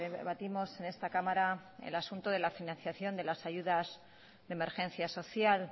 debatimos en esta cámara el asunto de la financiación de las ayudas de emergencia social